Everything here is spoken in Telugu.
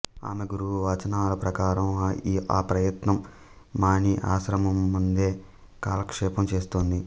ఆమె గురువు వచనాల ప్రకారం ఆ ప్రయత్నం మాని ఆశ్రమమందే కాలక్షేపం చేస్తోంది